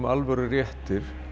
alvöru réttir